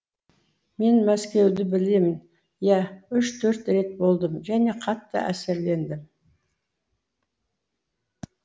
мен мәскеуді білемін иә үш төрт рет болдым және қатты әсерлендім